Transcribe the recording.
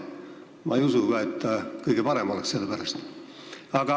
Ma ei usu, et see sellepärast kõige parem oleks.